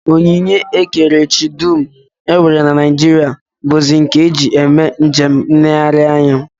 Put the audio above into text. Onyinye ekerechi dum e nwere na Naijiria bụzi nke e ji eme njem nlereanya